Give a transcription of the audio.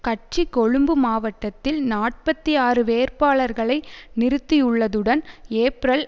கட்சி கொழும்பு மாவட்டத்தில் நாற்பத்தி ஆறு வேட்பாளர்களை நிறுத்தியுள்ளதுடன் ஏப்ரல்